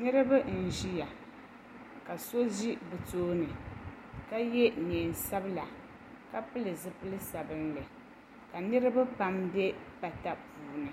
Niriba n ʒia ka so ʒi bɛ tooni ka ye niɛn'sabla ka pili zipil'sabinli ka niriba pam be pata puuni